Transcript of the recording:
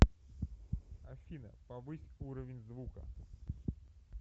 афина повысь уровень звука